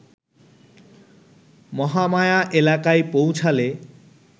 মহামায়া এলাকায় পৌঁছালে